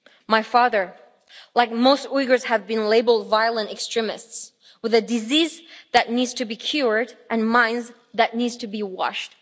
My father, like most Uyghurs, has been labelled a violent extremist, with a diseases that needs to be cured and a mind that need to be washed.